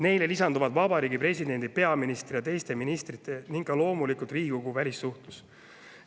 Nendele lisanduvad Vabariigi Presidendi, peaministri, teiste ministrite ning loomulikult Riigikogu välissuhtlus.